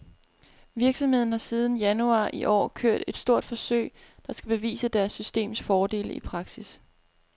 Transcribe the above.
Virksomheden har siden januar i år kørt et stort forsøg, der skal bevise deres systems fordele i praksis.